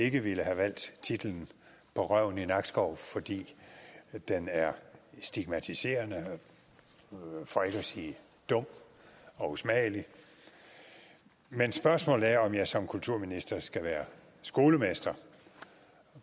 ikke ville have valgt titlen på røven i nakskov fordi den er stigmatiserende for ikke at sige dum og usmagelig men spørgsmålet er om jeg som kulturminister skal være skolemester